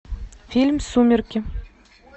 фильм сумерки